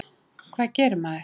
Hvað gerir maður?